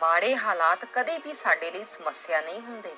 ਮਾੜੇ ਹਾਲਾਤ ਕਦੇ ਵੀ ਸਾਡੇ ਲਈ ਸਮੱਸਿਆ ਨਹੀਂ ਹੁੰਦੇ,